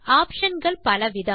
option கள் பலவிதம்